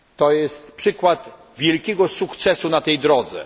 Jest to przykład wielkiego sukcesu na tej drodze.